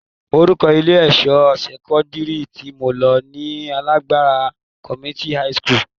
Orúkọ ilé-ẹ̀kọ́ sẹ́kọ́ndírì tí mo lọ ni Agbara Community high school